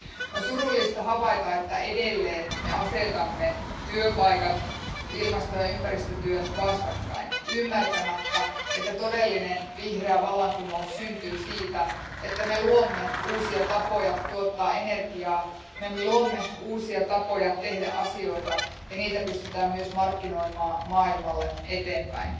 On surullista havaita, että edelleen me asetamme työpaikat ja ilmasto ja ympäristötyön vastakkain ymmärtämättä, että todellinen vihreä vallankumous syntyy siitä, että me luomme uusia tapoja tuottaa energiaa, me luomme uusia tapoja tehdä asioita ja niitä pystytään myös markkinoimaan maailmalle eteenpäin.